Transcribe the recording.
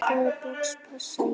Í hvaða box passa ég?